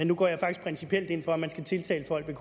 nu går jeg faktisk principielt ind for at man skal tiltale folk med